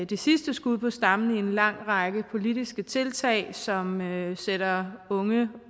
det sidste skud på stammen i en lang række politiske tiltag som sætter unge